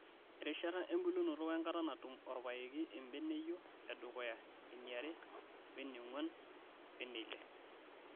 Erishata embulunoto wenkata natum orpayeki embeneyio e dukuya, eniare, weneng'wan weneile.